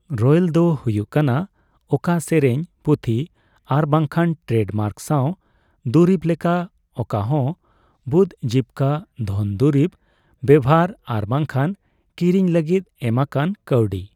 Royal ᱫᱚ ᱦᱩᱭᱩᱜ ᱠᱟᱱᱟ ᱚᱠᱟ ᱥᱮᱨᱮᱧ, ᱯᱩᱛᱷᱤ ᱟᱨ ᱵᱟᱝᱠᱷᱟᱱ ᱴᱨᱮᱰᱢᱟᱨᱠ ᱥᱟᱣ ᱫᱩᱨᱤᱯ ᱞᱮᱠᱟ ᱚᱠᱟᱦᱚᱸ ᱵᱩᱫᱡᱤᱵᱽᱠᱟᱹ ᱫᱷᱚᱱ ᱫᱩᱨᱤᱵ ᱵᱮᱵᱷᱟᱨ ᱟᱨ ᱵᱟᱝᱠᱷᱟᱱ ᱠᱤᱨᱤᱧ ᱞᱟᱹᱜᱤᱫ ᱮᱢᱟᱠᱟᱱ ᱠᱟᱹᱣᱰᱤ ᱾